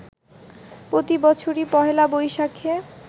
প্রতি বছরই পহেলা বৈশাখে